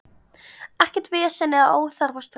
Ekkert vesen eða óþarfa stress.